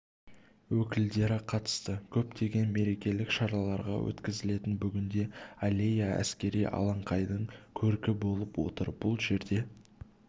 өкілдері қатысты көптеген мерекелік шаралар өткізілетін бүгінде аллея әскери алаңқайдың көркі болып отыр бұл жерде